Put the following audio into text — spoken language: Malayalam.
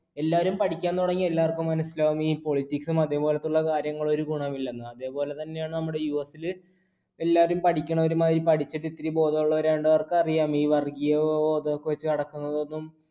എല്ലാരും പഠിക്കാൻ തുടങ്ങിയാൽ എല്ലാവർക്കും മനസ്സിലാകും, ഈ politics ഉം അതേപോലത്തെയുള്ള കാര്യങ്ങൾ ഒരു ഗുണമില്ലെന്ന്. അതുപോലെ തന്നെയാണ് നമ്മുടെ US ല്. എല്ലാവരും പഠിക്കണവരുമായി പഠിച്ചിട്ട് ഇച്ചിരി ബോധമുള്ളവരായൊണ്ട് അവർക്കറിയാം ഈ വർഗീയ ബോധം വച്ചുനടക്കണതൊന്നും